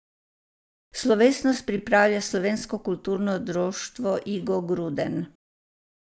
Slovesnost pripravlja Slovensko kulturno društvo Igo Gruden.